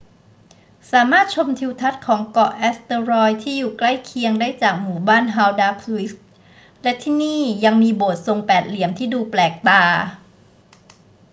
สามารถชมทิวทัศน์ของเกาะเอสเตอรอยที่อยู่ใกล้เคียงได้จากหมู่บ้านฮาลดาร์สวิก และที่นี่ยังมีโบสถ์ทรงแปดเหลี่ยมที่ดูแปลกตา